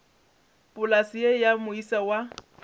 polase ye ya moisa wa